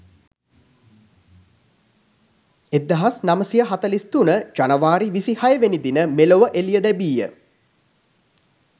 1943 ජනවාරි 26 වෙනි දින මෙලොව එළිය ලැබීය.